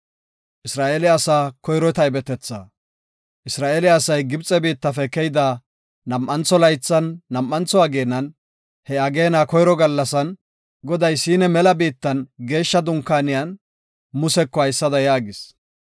Isra7eele asay Gibxe biittafe keyida nam7antho laythan, nam7antho ageenan, he ageena koyro gallasan, Goday Siina mela biittan Geeshsha Dunkaaniyan Museko haysada yaagis;